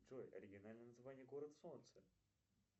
джой оригинальное название город солнца